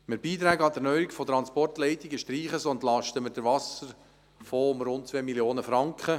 Mit der Streichung von Beiträgen an die Erneuerung von Transportleistungen entlasten wir den Wasserfonds um rund 2 Mio. Franken.